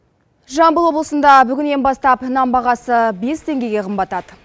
жамбыл облысында бүгіннен бастап нан бағасы бес теңгеге қымбаттады